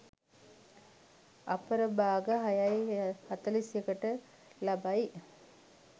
අපර භාග 06.41 ට ලබයි.